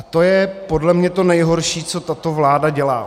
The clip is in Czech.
A to je podle mě to nejhorší, co tato vláda dělá.